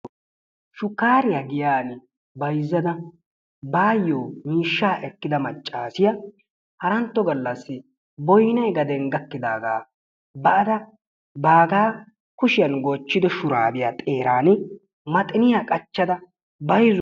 shukkariyaa giyaan bayzzada baayo miishshaa ekkida maccaasiyaa harantto gallaasi boynnay gaden gaakkidaagaa baada baagaa kushyaan goochchido shuraabiyaa xeerani maxiniyaa qachchada bayzzuwaa.